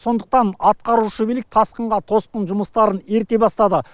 сондықтан атқарушы билік тасқынға тосқын жұмыстарын ерте бастады